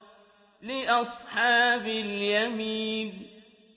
لِّأَصْحَابِ الْيَمِينِ